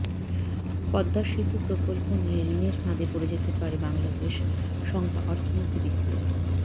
পদ্মা সেতু প্রকল্প নিয়ে ঋণের ফাঁদে পড়ে যেতে পারে বাংলাদেশ শঙ্কা অর্থনীতিবিদদের